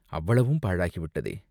அவ்வளவும் பாழாகி விட்டதே!